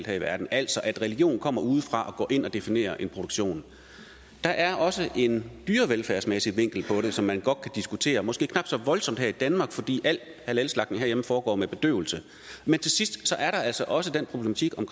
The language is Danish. her i verden altså at religion kommer udefra og går ind og definerer en produktion der er også en dyrevelfærdsmæssig vinkel på det som man godt kan diskutere måske knap så voldsomt her i danmark fordi al halalslagtning herhjemme foregår med bedøvelse men til sidst er der altså også den problematik om